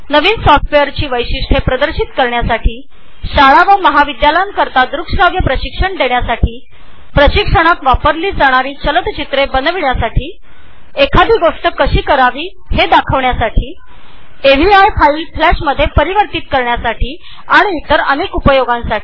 नवीन सॉफ्टवेअरची वैशिष्टये प्रदर्शित करण्यासाठी शाळा आणि कॉलेजमध्ये द्रुकश्राव्य प्रशिक्षणासाठी प्रशिक्षणात वापरली जाणारी चलचित्रे बनविण्यासाठी एखादी गोष्ट कशी करावी हे दाखविण्यासाठी एव्हीआय फाईल्स फ्लॅश फाईल्समध्ये परावर्तित करण्यासाठी आणि इतर अनेक उपयोगांसाठी